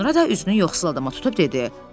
Sonra da üzünü yoxsul adama tutub dedi: